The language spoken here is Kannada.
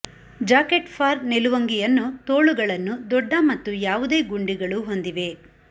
ಜಾಕೆಟ್ ಫಾರ್ ನಿಲುವಂಗಿಯನ್ನು ತೋಳುಗಳನ್ನು ದೊಡ್ಡ ಮತ್ತು ಯಾವುದೇ ಗುಂಡಿಗಳು ಹೊಂದಿವೆ